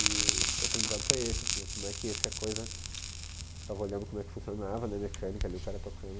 E o aprendizado foi esse, assim, como é que esse a coisa... Ficava olhando como é que funcionava, né, a mecânica ali, o cara tocando.